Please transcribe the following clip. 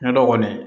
Ɲɔndɔ kɔni